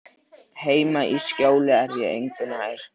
Heima í Skjóli er ég engu nær.